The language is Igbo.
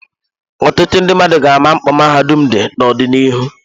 Ọtụtụ ndị mmadụ ga-ama mkpa mahadum dị n'ọdịnihu.